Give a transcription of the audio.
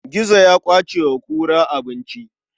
Gizo ya ƙwace wa kura abinci.